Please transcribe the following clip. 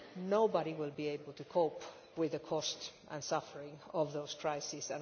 nobody will be able to cope with the cost and suffering of those crises.